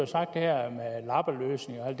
sagt her med lappeløsninger og